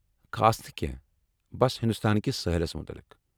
خاص نہٕ کینٛہہ، بس ہندوستان کس سٲحَلس متلِق۔